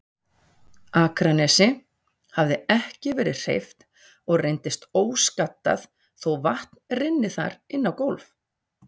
Akranesi, hafði ekki verið hreyft og reyndist óskaddað þó vatn rynni þar inná gólf.